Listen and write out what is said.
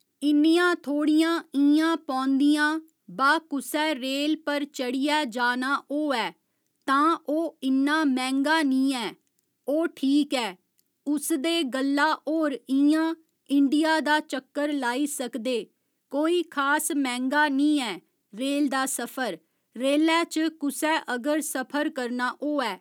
इन्नियां थोह्ड़ियां इ'यां पौंदियां बा कुसै रेल पर चढ़ियै जाना होऐ तां ओह् इन्ना मैंह्गा निं ऐ ओह् ठीक ऐ उस दे गल्ला होर इं'या इंडिया दा चक्कर लाई सकदे कोई खास मैंह्गा निं ऐ रेल दा सफर रेलै च कुसै अगर सफर करना होऐ